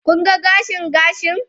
Kun ga gashin gashin?